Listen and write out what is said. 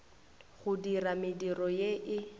go dira mediro ye e